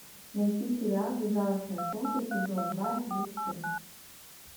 найти сериал безжалостное солнце сезон два эпизод четырнадцать